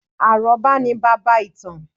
Àrọ́bá ni baba ìtàn